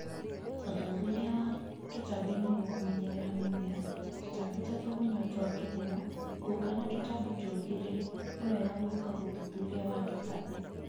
Ũthuthuria wa tũtambi nĩgwo kũmenyerera mĩmera, tũtambi ta tũgunyũ twa kĩhumo, ngũnga na tũtambi tũngĩ rï, nĩwega gwika ũthuthuria wa tũtambi